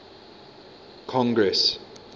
congress